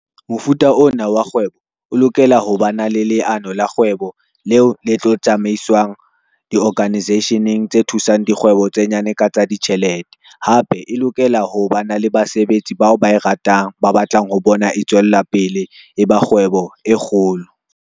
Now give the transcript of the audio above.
Mofuta ona wa kgwebo o lokela ho ba na le leano la kgwebo leo le tlo tsamaiswang di-organisation-eng tse thusang dikgwebo tse nyane ka tsa ditjhelete. Hape e lokela ho ba na le basebetsi bao ba e ratang ba batlang ho bona e tswella pele e ba kgwebo e kgolo.